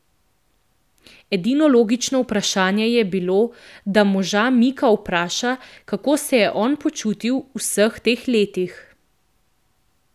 Edino logično vprašanje je bilo, da moža Mika vpraša, kako se je on počutil v vseh teh letih.